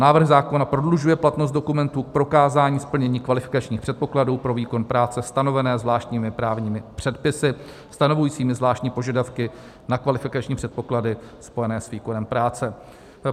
Návrh zákona prodlužuje platnost dokumentů k prokázání splnění kvalifikačních předpokladů pro výkon práce stanovené zvláštními právními předpisy stanovujícími zvláštní požadavky na kvalifikační předpoklady spojené s výkonem práce.